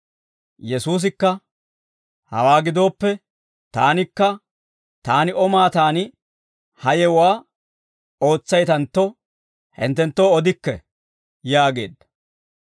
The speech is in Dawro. Yesuusikka, «Hawaa gidooppe taanikka, taani O maataan ha yewuwaa ootsaytantto hinttenttoo odikke» yaageedda.